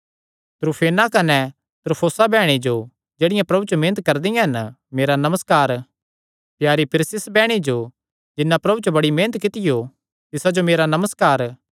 त्रूफेना कने त्रूफोसा बैह्णी जो जेह्ड़ियां प्रभु च मेहनत करदियां हन मेरा नमस्कार प्यारी पिरसिस बैह्णी जो जिन्नै प्रभु च बड़ी मेहनत कित्तियो तिसा जो मेरा नमस्कार